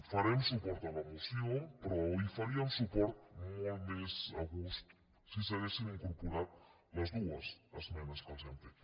farem suport a la moció però hi faríem suport molt més a gust si s’hi haguessin incorporat les dues esmenes que els hem fet